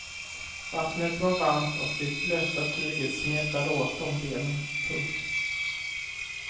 Vattnet var varmt och det blöta tyget smetade åt om benen. punkt